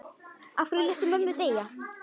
Af hverju léstu mömmu deyja?